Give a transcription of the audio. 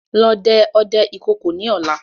Lọ dẹ ọdẹ ìkookò ni ọ̀la!